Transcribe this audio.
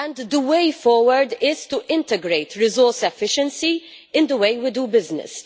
The way forward is to integrate resource efficiency in the way we do business.